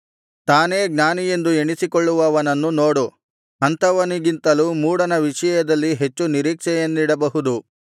ತಾನೇ ಜ್ಞಾನಿಯೆಂದು ಎಣಿಸಿಕೊಳ್ಳುವವನನ್ನು ನೋಡು ಅಂಥವನಿಗಿಂತಲೂ ಮೂಢನ ವಿಷಯದಲ್ಲಿ ಹೆಚ್ಚು ನಿರೀಕ್ಷೆಯನ್ನಿಡಬಹುದು